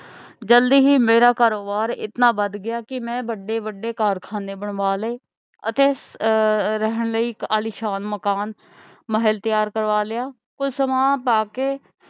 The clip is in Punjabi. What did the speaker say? ਜਲਦੀ ਹੀ ਮੇਰਾ ਕਾਰੋਬਾਰ ਇਤਨਾ ਵੱਧ ਗਿਆ ਕਿ ਮੈਂ ਵੱਡੇ ਵੱਡੇ ਕਾਰਖਾਨੇ ਬਣਵਾ ਲਏ ਅਤੇ ਅਹ ਰਹਿਣ ਲਈ ਆਲੀਸ਼ਾਨ ਮਕਾਨ ਮਹਿਲ ਤਿਆਰ ਕਰਵਾ ਲਿਆ ਕੁਝ ਸਮਾਂ ਪਾ ਕੇ,